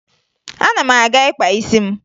Ana m aga ịkpa isi m